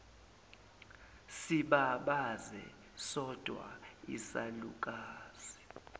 sibabaze sodwa isalukazi